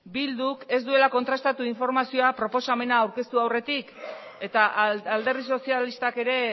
bilduk ez duela kontrastatu informazioa proposamena aurkeztu aurretik eta alderdi sozialistak ere